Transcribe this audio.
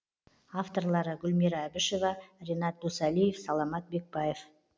авторлары гүлмира әбішева ренат досалиев саламат бекбаев